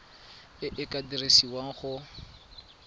e e ka dirisiwang go